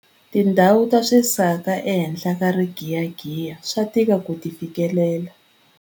Tindhawu ta swisaka ehenhla ka rigiyagiya swa tika ku ti fikelela.